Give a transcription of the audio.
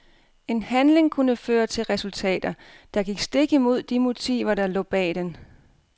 En handling kunne føre til resultater, der gik stik imod de motiver der lå bag den.